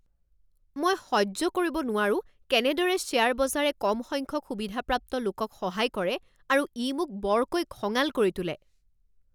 মই সহ্য কৰিব নোৱাৰো কেনেদৰে শ্বেয়াৰ বজাৰে কম সংখ্যক সুবিধাপ্ৰাপ্ত লোকক সহায় কৰে আৰু ই মোক বৰকৈ খঙাল কৰি তোলে।